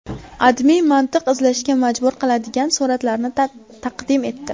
AdMe mantiq izlashga majbur qiladigan suratlarni taqdim etdi .